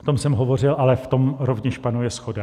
O tom jsem hovořil, ale v tom rovněž panuje shoda.